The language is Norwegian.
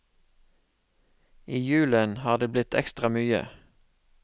I julen har det blitt ekstra mye.